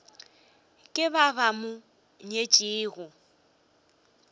ke ba ba mo nyetšego